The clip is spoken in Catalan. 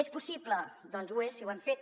és possible doncs ho és si ho hem fet